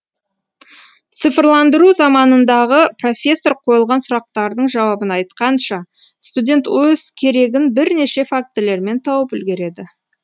цифрландыру заманындағы профессор қойылған сұрақтың жауабын айтқанша студент өз керегін бірнеше фактілермен тауып үлгереді